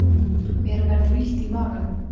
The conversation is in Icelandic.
Mér verður illt í maganum.